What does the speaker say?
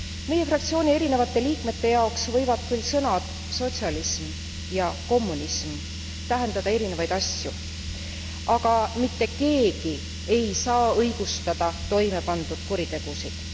Meie fraktsiooni erinevate liikmete jaoks võivad küll sõnad sotsialism ja kommunism tähendada erinevaid asju, aga mitte keegi ei saa õigustada toimepandud kuritegusid.